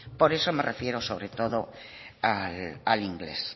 por eso me refiero sobre todo al inglés